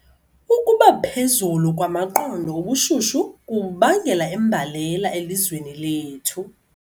Ukuba phezulu kwamaqondo obushushu kubangela imbalela elizweni lethu.